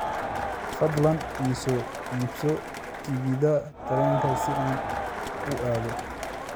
fadlan ii soo iibso tigidh tareen si aan u aado